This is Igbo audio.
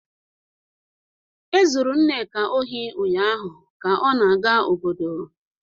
Ezuru Nneka ohi ụnyahụ ka ọ na-aga obodo